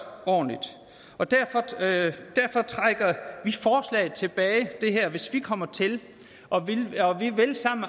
ordentligt og derfor trækker vi forslaget tilbage hvis vi kommer til og vi vil sammen